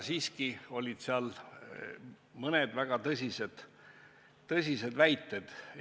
Samas olid seal mõned väga tõsised väited.